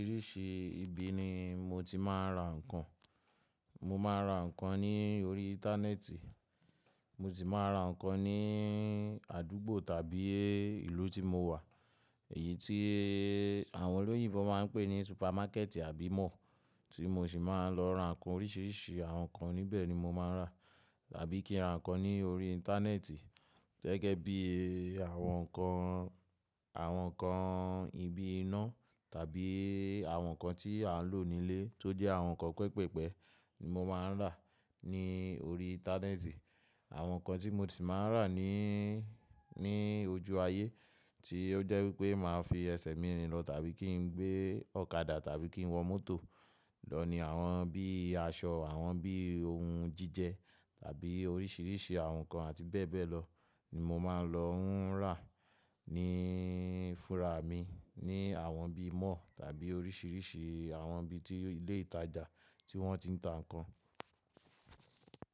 Oríṣìí ibi ni mo ti máa ń ra ǹkan. Mo máa ń ra ǹkan ní orí íńtánẹ́ẹ̀tì, mo sì máa ń ra ǹkan ní àdúgbò tàbí ìlú tí mo wà, èyí tí àwọn olóyún fọn máa ń pè ní súpámákẹ́tì àbí máà, tí mo sì máa ń lọ ra ǹkan oríṣìíríṣìí àwọn ǹkan níbẹ̀ ni mo máa ń rà. Tàbí kí n ra ǹkan ní orí íńtánẹ́ẹ̀tì gẹ́gẹ́ bí àwọn ǹkan, àwọn ǹkan ibi iná tàbí àwọn ǹkan tí à ń lò nílé tó jẹ́ àwọn ǹkan pẹpẹpẹ́ ni mo máa ń rà ní orí íńtánẹ́ẹ̀tì. Àwọn ǹkan tí mo sì máa ń rà ní, ní ojú ayé tí ó jẹ́ wípé màá fi ẹsẹ̀ mi rìn lọ tàbí kí n gbé ọ̀kadà tàbí kí n wọ mọ́tò lọ ni àwọn bí aṣọ, àwọn bí ohun jíjẹ tàbí oríṣìíríṣìí àwọn ǹkan àti bẹ́ẹ̀ bẹ́ẹ̀ lọ ni mo máa ń lọ ń rà ní fúnra mi ní àwọn bí mall tàbí oríṣìíríṣìí àwọn ibi tí ilé ìtajà tí wọ́n ti ń ta ǹkan.